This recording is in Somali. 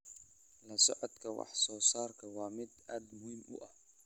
La socodka wax soo saarku waa mid aad muhiim u ah.